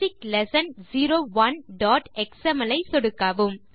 basic lesson 01xml ஐ சொடுக்கவும்